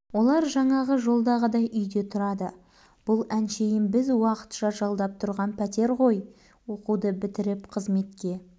олар жаңағы жолдағыдай үйде тұрады бұл әншейін біз уақытша жалдап тұрған пәтер ғой оқуды бітіріп қызметке